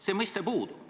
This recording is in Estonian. See mõiste puudub.